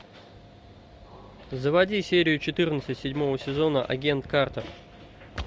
заводи серию четырнадцать седьмого сезона агент картер